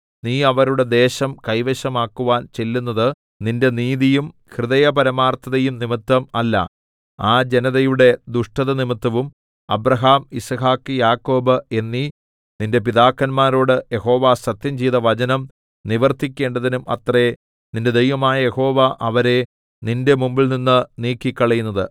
നീ അവരുടെ ദേശം കൈവശമാക്കുവാൻ ചെല്ലുന്നത് നിന്റെ നീതിയും ഹൃദയപരമാർത്ഥതയും നിമിത്തം അല്ല ആ ജനതയുടെ ദുഷ്ടതനിമിത്തവും അബ്രാഹാം യിസ്ഹാക്ക് യാക്കോബ് എന്നീ നിന്റെ പിതാക്കന്മാരോട് യഹോവ സത്യംചെയ്ത വചനം നിവർത്തിക്കേണ്ടതിനും അത്രേ നിന്റെ ദൈവമായ യഹോവ അവരെ നിന്റെ മുമ്പിൽനിന്ന് നീക്കിക്കളയുന്നത്